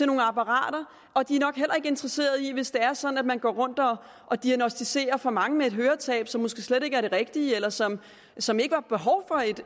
nogle apparater og de er nok heller ikke interesseret i hvis det er sådan at man går rundt og diagnosticerer for mange med et høretab som måske slet ikke er det rigtige eller som som ikke har behov